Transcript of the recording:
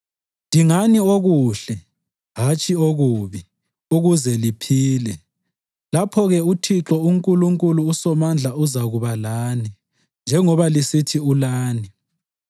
Dingani okuhle, hatshi okubi, ukuze liphile. Lapho-ke uThixo uNkulunkulu uSomandla uzakuba lani njengoba lisithi ulani.